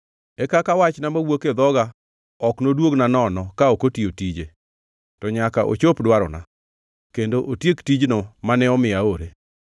e kaka wachna mawuok e dhoga, ok noduogna nono ka ok otiyo tije, to nyaka ochop dwarona, kendo otiek tijno mane omiyo aore.